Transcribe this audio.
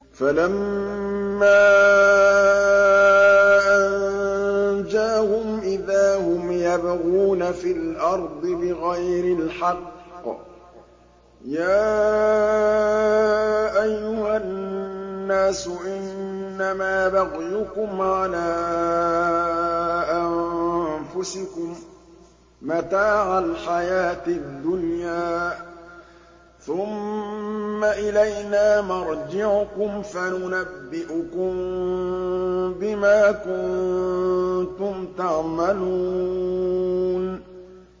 فَلَمَّا أَنجَاهُمْ إِذَا هُمْ يَبْغُونَ فِي الْأَرْضِ بِغَيْرِ الْحَقِّ ۗ يَا أَيُّهَا النَّاسُ إِنَّمَا بَغْيُكُمْ عَلَىٰ أَنفُسِكُم ۖ مَّتَاعَ الْحَيَاةِ الدُّنْيَا ۖ ثُمَّ إِلَيْنَا مَرْجِعُكُمْ فَنُنَبِّئُكُم بِمَا كُنتُمْ تَعْمَلُونَ